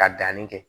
Ka danni kɛ